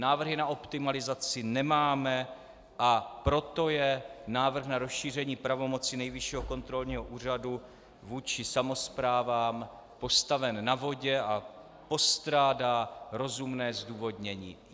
Návrhy na optimalizaci nemáme, a proto je návrh na rozšíření pravomocí Nejvyššího kontrolního úřadu vůči samosprávám postaven na vodě a postrádá rozumné zdůvodnění.